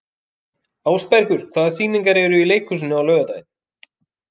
Ásbergur, hvaða sýningar eru í leikhúsinu á laugardaginn?